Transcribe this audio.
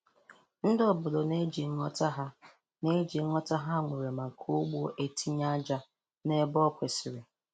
Ndị obodo na-eji nghọta ha na-eji nghọta ha nwere maka ugbo etinye aja n'ebe o kwesiri.